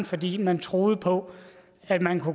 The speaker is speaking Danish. fordi man troede på at man